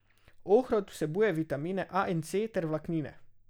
Ohrovt vsebuje vitamine A in C ter vlaknine.